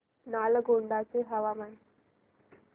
नालगोंडा चे हवामान